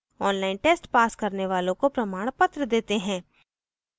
online test pass करने वालों को प्रमाणपत्र देते हैं